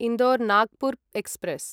Indore Nagpur express